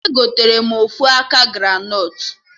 Egotere m ofu aka granọt